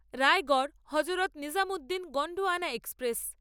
Raigad Hazrat Nizamuddin Gondwana express